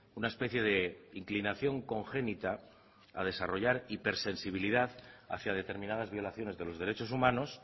una especie de inclinación congénita a desarrollar hipersensibilidad hacia determinadas violaciones de los derechos humanos